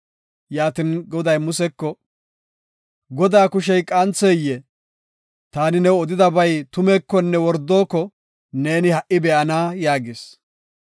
Yaatin, Goday Museko, “Godaa kushey qantheyee? Taani new odiyabay tumeekonne wordoko neeni ha77i be7ana” yaagis.